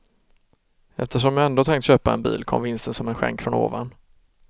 Eftersom jag ändå tänkt köpa en bil kom vinsten som en skänk från ovan.